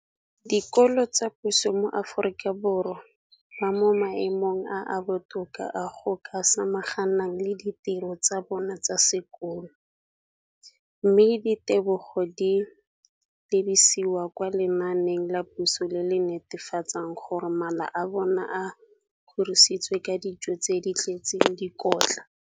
dikolo tsa puso mo Aforika Borwa ba mo maemong a a botoka a go ka samagana le ditiro tsa bona tsa sekolo, mme ditebogo di lebisiwa kwa lenaaneng la puso le le netefatsang gore mala a bona a kgorisitswe ka dijo tse di tletseng dikotla.